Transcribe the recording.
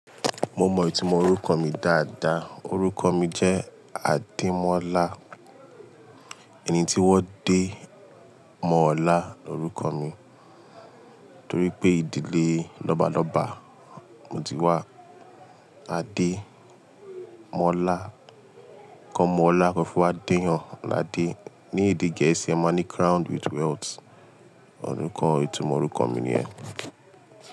Mo mọ ìtumọ̀ orúkọ mi dáadáa. Orúkọ mi jẹ́ Adémọ́lá. Ẹni tí wọ́n dé mọ́ ọlá lórúkọ mi torípé ìdílé lọ́balọ́ba moti wá Ademola, kan mú ọlá kan fi wá dèèyàn ládé. Ní èdè Gẹ̀ẹ́sì, ẹ máa ní crowned with wealth. Ọ̀rúkọ ìtumọ̀ orúkọ mi nìyẹn.